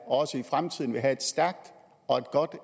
også i fremtiden vil have et stærkt og